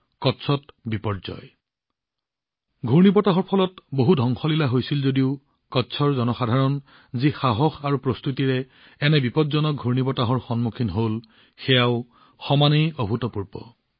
কচ্চত বিপৰ্যয় ঘূৰ্ণীবতাহৰ ফলত বহু ধ্বংসলীলা হৈছিল যদিও কচ্চৰ জনসাধাৰণে যি সাহস আৰু প্ৰস্তুতিৰে এনে বিপজ্জনক ঘূৰ্ণীবতাহৰ সন্মুখীন হল সেয়াও সমানেই অভূতপূৰ্ব